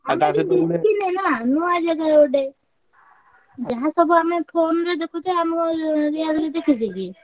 ନା ନୂଆ ଜାଗା ଗୋଟେ। ଯାହା ସବୁ ଆମେ phone ରେ ଦେଖୁଛେ ଆମେ real ରେ ଦେଖିଛେ କି?